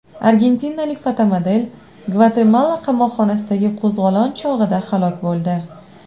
Argentinalik fotomodel Gvatemala qamoqxonasidagi qo‘zg‘olon chog‘ida halok bo‘ldi.